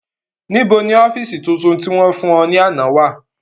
Nibo ni ọfiisi tuntun ti wọn fun ọ ni ana wa?